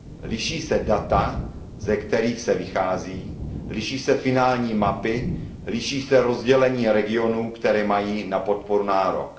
Liší se data, ze kterých se vychází, liší se finální mapy, liší se rozdělení regionů, které mají na podporu nárok.